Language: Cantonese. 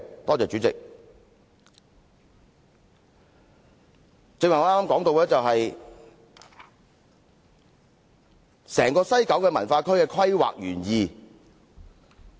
我剛才談到西九文化區的規劃原意。